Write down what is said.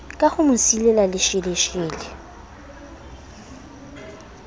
ka ho mo silela lesheleshele